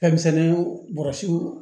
Fɛnmisɛnninw bɔrɛsi